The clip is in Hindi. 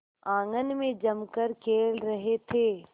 आंगन में जमकर खेल रहे थे